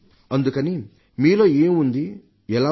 అందుకని మీలో ఏం ఉంది ఎలా ఉంది